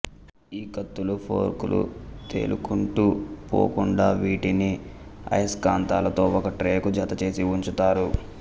ఈ కత్తులు ఫోర్కులూ తేలుకుంటూ పోకుండా వీటిని అయస్కాంతాలతో ఒక ట్రేకు జతచేసి ఉంచుతారు